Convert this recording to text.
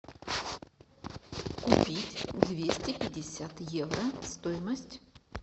купить двести пятьдесят евро стоимость